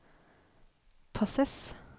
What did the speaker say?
passes